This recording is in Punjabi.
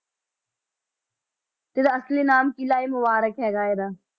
ਤੇ ਰਾਸ਼ਟਰੀ ਨਾਮ ਕਿਲ੍ਹਾ ਇਹ ਮੁਬਾਰਕ ਹੈਗਾ ਇਹਦਾ।